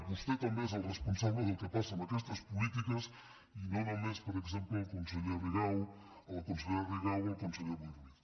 vostè també és el responsable del que passa amb aquestes polítiques i no només per exemple la consellera rigau o el conseller boi ruiz